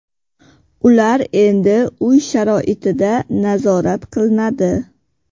Ular endi uy sharoitida nazorat qilinadi.